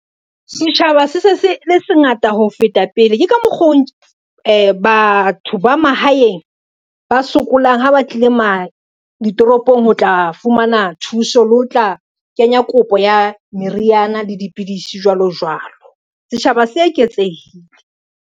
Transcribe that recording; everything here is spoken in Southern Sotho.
Setjhaba se se le se ngata ho feta pele, ke ka mokgo batho ba mahaeng ba sokolang ha ba tlile ditoropong ho tla fumana thuso le ho tla kenya kopo ya meriana le dipidisi jwalo jwalo, setjhaba se eketsehile.